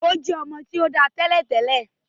O jẹ ọmọ ti o dá tẹ́lẹ̀tẹ́lẹ̀.